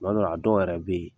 Kuma dɔ la a dɔw yɛrɛ be yen